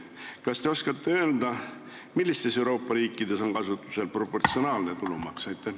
Kas te oskate öelda, millistes Euroopa riikides on kasutusel proportsionaalne tulumaks?